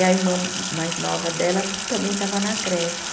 E a irmã mais nova dela também estava na creche.